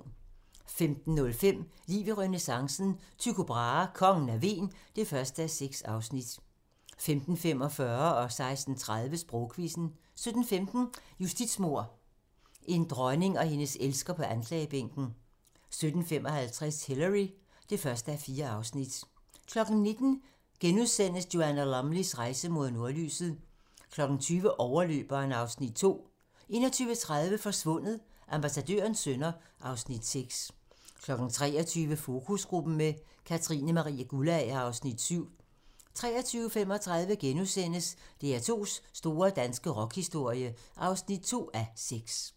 15:05: Liv i renæssancen - Tycho Brahe: Kongen af Hven (1:6) 15:45: Sprogquizzen 16:30: Sprogquizzen 17:15: Justitsmord - en dronning og hendes elsker på anklagebænken 17:55: Hillary (1:4) 19:00: Joanna Lumleys rejse mod nordlyset * 20:00: Overløberen (Afs. 2) 21:30: Forsvundet: Ambassadørens sønner (Afs. 6) 23:00: Fokusgruppen med Katrine Marie Guldager (Afs. 7) 23:35: DR2's store danske rockhistorie (2:6)*